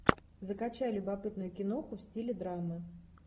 закачай любопытную киноху в стиле драмы